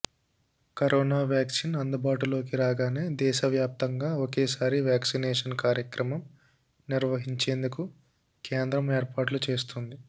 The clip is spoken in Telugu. కరోనా వ్యాక్సిన్ అందుబాటులోకి రాగానే దేశవ్యాప్తంగా ఒకేసారి వ్యాక్సినేషన్ కార్యక్రమం నిర్వహించేందుకు కేంద్రం ఏర్పాట్లు చేస్తోంది